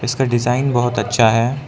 इसका डिजाइन बहुत अच्छा है।